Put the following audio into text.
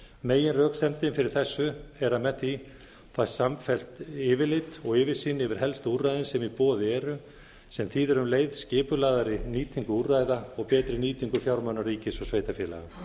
meginröksemdin fyrri þessu er að með því fæst samfellt yfirlit og yfirsýn yfir helstu úrræðin sem í boði eru sem þýðir um leið skipulagðari nýtingu úrræða og betri nýtingu fjármuna ríkis og sveitarfélaga